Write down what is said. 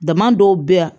Dama dɔw bɛ yan